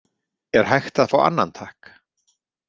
Er hægt að fá annan, takk?